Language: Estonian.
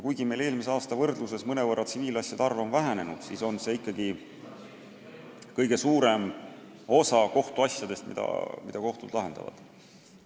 Eelmise aasta võrdluses on tsiviilasjade arv küll mõnevõrra vähenenud, ent see on ikkagi kõige suurem osa asjadest, mida kohtud lahendavad.